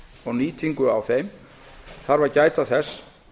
og nýtingu á þeim þarf að gæta þess